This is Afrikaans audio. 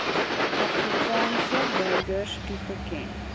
afrikaanse burgers toegeken